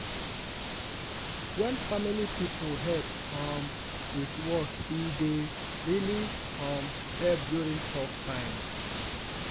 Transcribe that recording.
wen family people help um with work e dey really um help during tough times.